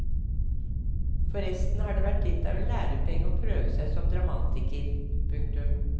Forresten har det vært litt av en lærepenge å prøve seg som dramatiker. punktum